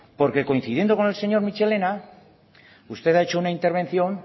porque coincidiendo con el señor michelena usted ha hecho una intervención